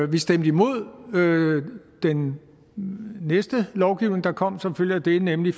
vi stemte imod den næste lovgivning der kom som følge af det nemlig